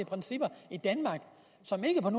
principper i danmark som ikke på